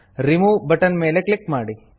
remove button ಮೇಲೆ click ಮಾಡಿ